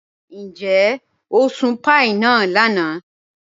Níjẹ̀ o sùn pàíí náà lànà?